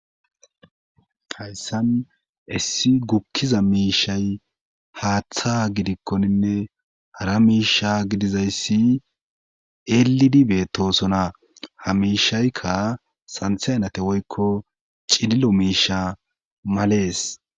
tayssan essi gukkiza miishay haaththa gidikkoninne hara miisha gidizayssi elidi beettosona ha miishaykka santhenate woykko cililo miisha malees